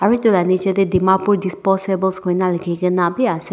aro etu la niche te dimapur disposables koina lekhi kena bi ase.